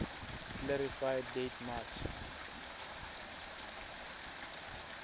clarify date march